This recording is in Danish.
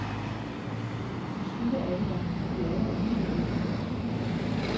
Som skygger er de der, men de er der alligevel ikke.